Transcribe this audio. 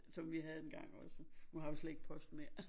Som vi havde engang også nu har vi slet ikke post mere